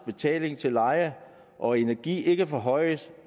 betaling til leje og energi ikke forhøjes